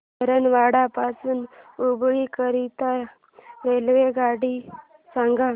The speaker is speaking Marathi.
धारवाड पासून हुबळी करीता रेल्वेगाडी सांगा